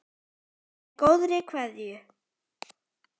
Með góðri kveðju.